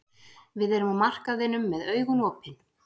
Við erum á markaðinum með augun opin.